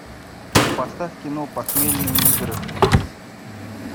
поставь кино похмельные игры